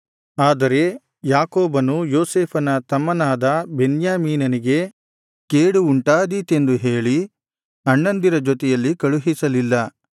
ಆದರೆ ಯಾಕೋಬನು ಯೋಸೇಫನ ತಮ್ಮನಾದ ಬೆನ್ಯಾಮೀನನಿಗೆ ಕೇಡು ಉಂಟಾದೀತೆಂದು ಹೇಳಿ ಅಣ್ಣಂದಿರ ಜೊತೆಯಲ್ಲಿ ಕಳುಹಿಸಲಿಲ್ಲ